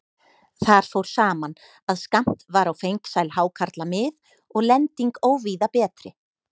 Þar fór saman, að skammt var á fengsæl hákarlamið og lending óvíða betri.